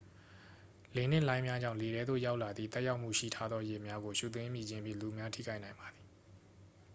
လေနှင့် လှိုင်းများကြောင့် လေထဲသို့ ရောက်လာသည့် သက်ရောက်မှုရှိထားသော ရေများကို ရှူသွင်းမိခြင်းဖြင့် လူအများထိခိုက်နိုင်ပါသည်